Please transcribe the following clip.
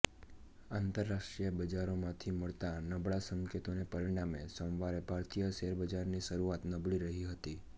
આંતર રાષ્ટ્રીય બજારોમાંથી મળતા નબળા સંકેતોને પરિણામે સોમવારે ભારતીય શેરબજારની શરૂઆત નબળી રહી હતી